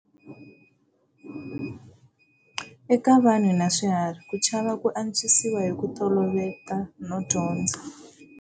Eka vanhu na swiharhi, ku chava ku antswisiwa hi ku toloveta no dyondza.